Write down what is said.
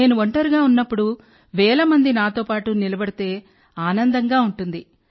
నేను ఒంటరిగా ఉన్నప్పుడు వేల మంది నాతో పాటు నిలబడితే ఆనందంగా ఉంటుంది